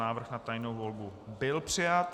Návrh na tajnou volbu byl přijat.